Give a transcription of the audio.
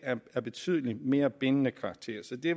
af betydelig mere bindende karakter så det